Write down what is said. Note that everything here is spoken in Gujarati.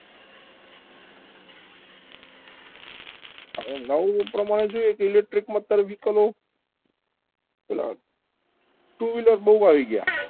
હવે નવું પ્રમાણે જોઈએ તો electric માં અત્યારે Vehicle ઓલા two wheeler બહુ આવી ગયા